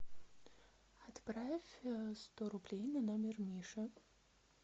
отправь сто рублей на номер миша